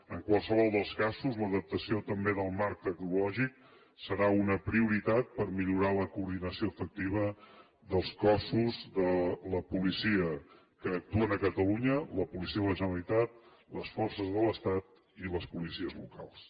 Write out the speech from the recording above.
en qualsevol dels casos l’adaptació també del marc tecnològic serà una prioritat per millorar la coordinació efectiva dels cossos de la policia que actuen a catalunya la policia de la generalitat les forces de l’estat i les policies locals